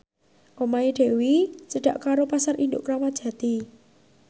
omahe Dewi cedhak karo Pasar Induk Kramat Jati